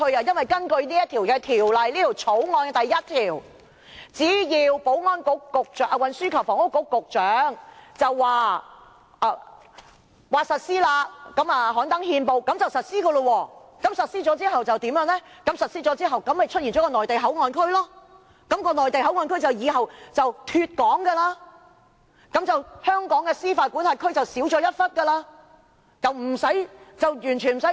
根據《條例草案》第1條，只要運輸及房屋局局長刊登憲報就可以實施，實施之後就會出現內地口岸區，內地口岸區以後就會"脫港"，香港司法管轄區的面積也就縮小了。